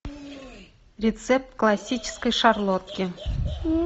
рецепт классической шарлотки